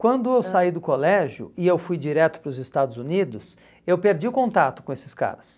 Quando eu saí do colégio e eu fui direto para os Estados Unidos, eu perdi o contato com esses caras.